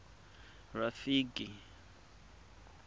rafiki